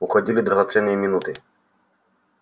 уходили драгоценные минуты